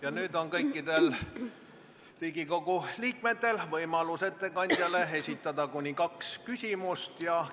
Ja nüüd on kõikidel Riigikogu liikmetel võimalus ettekandjale esitada kuni kaks küsimust.